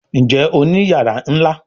Njé Òní iyàrá nlá?